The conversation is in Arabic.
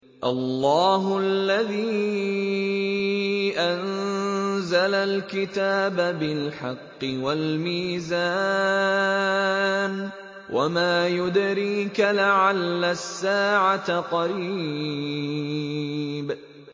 اللَّهُ الَّذِي أَنزَلَ الْكِتَابَ بِالْحَقِّ وَالْمِيزَانَ ۗ وَمَا يُدْرِيكَ لَعَلَّ السَّاعَةَ قَرِيبٌ